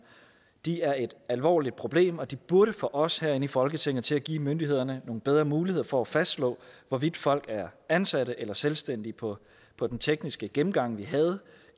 de er et alvorligt problem og de burde få os her i folketinget til at give myndighederne nogle bedre muligheder for at fastslå hvorvidt folk er ansatte eller selvstændige på på den tekniske gennemgang vi havde